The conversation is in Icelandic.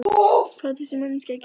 Hvað á þessi manneskja að gera?